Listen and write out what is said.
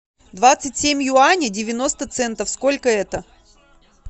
двадцать семь юаней девяносто центов сколько это